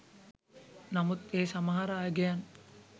නමුත් ඒ සමහර අගයන්